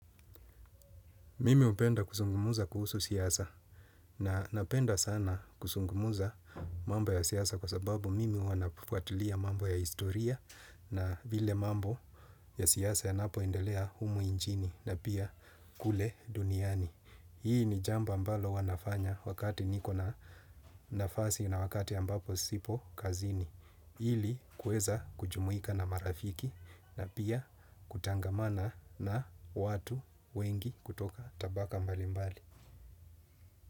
Mimi hupenda kuzungumza kuhusu siasa na napenda sana kuzungumza mambo ya siasa kwa sababu mimi huwa nafuatilia mambo ya historia na vile mambo ya siasa yanapoendelea humu nchini na pia kule duniani. Hii ni jambo ambalo huwa nafanya wakati niko na nafasi na wakati ambapo sipo kazini. Ili kuweza kujumuika na marafiki na pia kutangamana na watu wengi kutoka tabaka mbali mbali.